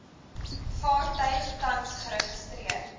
vaartuig tans geregistreer